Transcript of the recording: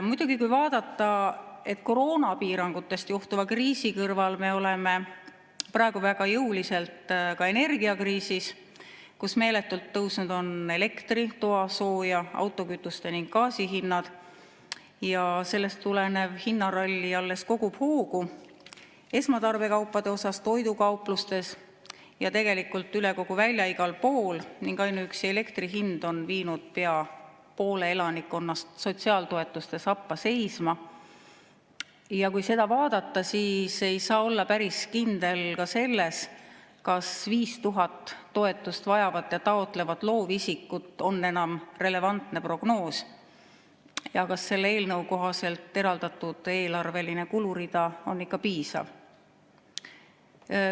Muidugi, kui vaadata, et koroonapiirangutest johtuva kriisi kõrval me oleme praegu väga jõuliselt ka energiakriisis, kus meeletult tõusnud on elektri, toasooja, autokütuste ning gaasi hind, ja sellest tulenev hinnaralli alles kogub hoogu esmatarbekaupade puhul, toidukauplustes ja tegelikult üle kogu välja igal pool, ning ainuüksi elektri hind on viinud pea poole elanikkonnast sotsiaaltoetuste sappa seisma, siis ei saa olla päris kindel ka selles, kas 5000 toetust vajavat ja taotlevat loovisikut on enam relevantne prognoos ja kas selle eelnõu kohaselt eraldatud eelarveline kulurida on ikka piisav.